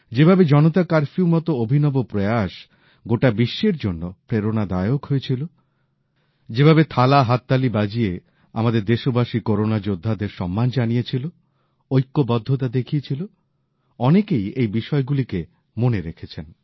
যেভাবে জনতা কারফিউর মত অভিনব প্রয়াস গোটা বিশ্বের জন্য প্রেরণাদায়ক হয়ে ছিল যেভাবে থালাহাততালি বাজিয়ে আমাদের দেশবাসী করোনা যোদ্ধাদের সম্মান জানিয়েছিল ঐক্যবদ্ধতা দেখিয়েছিল অনেকেই এই বিষয়গুলিকে মনে রেখেছেন